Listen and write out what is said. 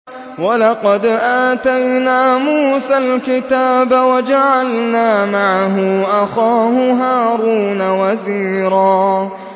وَلَقَدْ آتَيْنَا مُوسَى الْكِتَابَ وَجَعَلْنَا مَعَهُ أَخَاهُ هَارُونَ وَزِيرًا